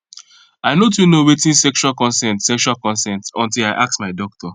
i no too know watin sexual consent sexual consent until i ask my doctor